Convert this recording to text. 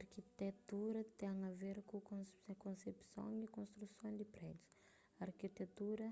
arkitetura ten a ver ku konsepson y konstruson di prédius arkitetura